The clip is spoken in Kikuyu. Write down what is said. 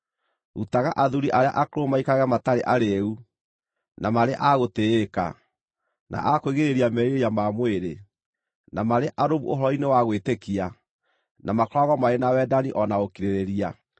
Rutaga athuuri arĩa akũrũ maikarage matarĩ arĩĩu, na marĩ a gũtĩĩka, na a kwĩgirĩrĩria merirĩria ma mwĩrĩ, na marĩ arũmu ũhoro-inĩ wa gwĩtĩkia, na makoragwo marĩ na wendani o na ũkirĩrĩria.